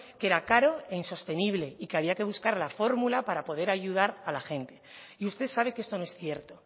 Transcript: que era caro e insostenible y que había que buscar la fórmula para poder ayudar a la gente y usted sabe que esto no es cierto